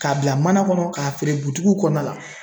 Ka bila mana kɔnɔ ka feere butigiw kɔnɔna la.